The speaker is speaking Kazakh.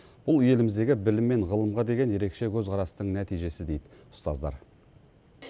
бұл еліміздегі білім мен ғылымға деген ерекше көзқарастың нәтижесі дейді ұстаздар